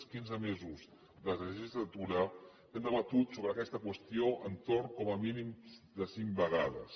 els quinze mesos de legislatura hem debatut sobre aquesta qüestió entorn com a mínim de cinc vegades